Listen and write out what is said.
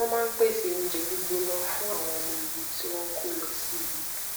wón máa ń pèsè oúnjẹ gbígbóná fún àwọn ọmọ ogun tí wón ń kó lọ síbi